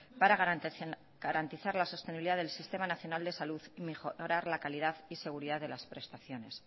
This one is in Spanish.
para garantizar la sostenibilidad del sistema nacional de salud y mejorar la calidad y seguridad de las prestaciones